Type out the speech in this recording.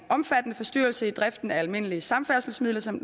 omfattende forstyrrelse i driften af almindelige samfærdselsmidler som